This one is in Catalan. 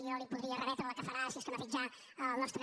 jo li podria remetre la que farà si és que no l’ha fet ja el nostre